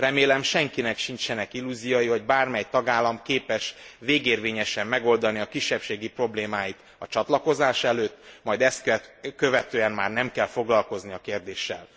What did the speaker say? Remélem senkinek sincsenek illúziói arról, hogy bármely tagállam képes végérvényesen megoldani a kisebbségi problémáit a csatlakozás előtt, majd ezt követően már nem kell foglalkozni a kérdéssel.